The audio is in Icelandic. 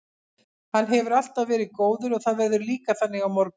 Hann hefur alltaf verið góður og það verður líka þannig á morgun.